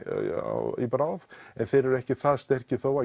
í bráð en þeir eru ekki það sterkir þó